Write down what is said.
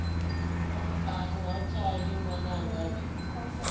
aṋu ha pfali ṅwananga ni